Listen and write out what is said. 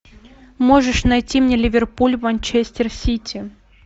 можешь найти мне ливерпуль манчестер сити